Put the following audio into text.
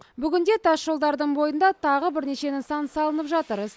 бүгінде тасжолдардың бойында тағы бірнеше нысан салынып жатыр